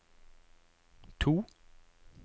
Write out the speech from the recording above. to